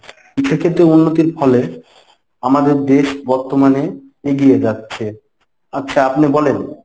শিক্ষাক্ষেত্রে উন্নতির ফলে আমদের দেশ বর্তমানে এগিয়ে যাচ্ছে। আচ্ছা আপনে বলেন।